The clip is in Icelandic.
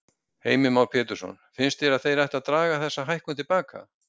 Heimir Már Pétursson: Finnst þér að þeir ættu að draga þessa hækkun til baka?